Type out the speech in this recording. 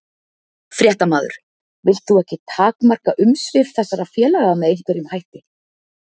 Fréttamaður: Vilt þú ekki takmarka umsvif þessara félaga með einhverjum hætti?